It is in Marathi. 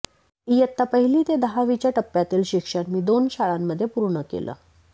इयत्ता पहिली ते दहावीच्या टप्प्यातील शिक्षण मी दोन शाळांमध्ये पूर्ण केलं